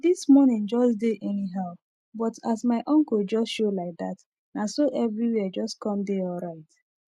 this morning jus dey anyhow but as my uncle jus show laidat naso eviri where jus com dey alright